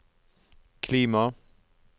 klima